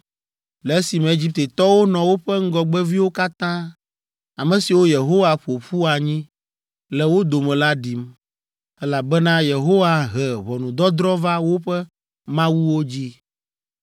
le esime Egiptetɔwo nɔ woƒe ŋgɔgbeviwo katã, ame siwo Yehowa ƒo ƒu anyi le wo dome la ɖim, elabena Yehowa he ʋɔnudɔdrɔ̃ va woƒe mawuwo dzi.